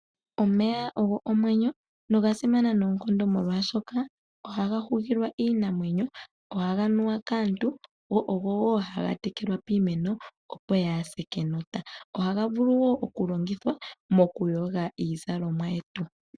Omeya ogo omwenyo, nogasimana noonkondo molwaashoka ohaga hugilwa iinamwenyo, go ohaga nuwa woo kaantu nokutekelitha iimeno opo yaase kenota, ohaga longithwa woo natango okuyoga iikutu.